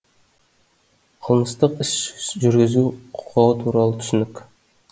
қылмыстық іс жүргізу құқығы туралы түсінік